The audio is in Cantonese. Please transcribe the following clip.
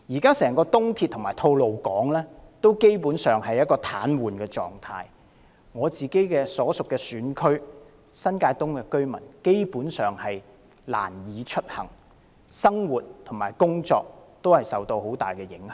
現時整條東鐵和吐露港公路基本上處於癱瘓狀態，我所屬選區新界東的居民根本難以出行，生活和工作都大受影響。